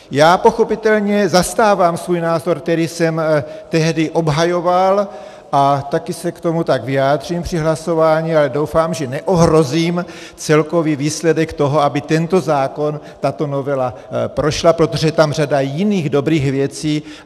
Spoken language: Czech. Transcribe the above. Já pochopitelně zastávám svůj názor, který jsem tehdy obhajoval, a také se k tomu tak vyjádřím při hlasování, ale doufám, že neohrozím celkový výsledek toho, aby tento zákon, tato novela prošla, protože je tam řada jiných dobrých věcí.